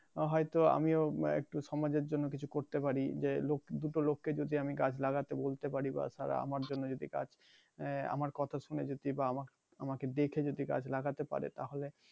হয়তো আমিও উম সমাজের জন্য কিছু করতে পারি যে লোক দুটো লোককে যদি আমি গাছ লাগাতে বলতে পারি বা তারা আমার জন্য যদি গাছ আহ আমার কথা শুনে যদি বা আমাক আমাকে দেখে যদি গাছ লাগাতে পারে তাহলে